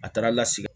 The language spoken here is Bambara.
A taara lasigi